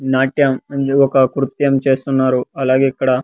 నాట్యం అందరూ ఒక కృత్యం చేస్తున్నారు అలాగే ఇక్కడ.